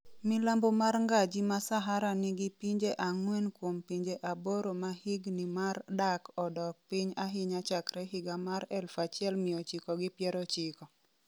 milambo mar ngaji ma Sahara nigi pinje ang'wen kuom pinje aboro ma higni mar dak odok piny ahinya chakre higa mar 1990.